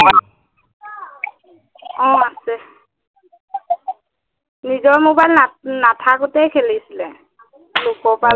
অ আছে, নিজৰ মবাইল না নাথকোতেই খেলিছিলে, লোকৰ পৰা লৈ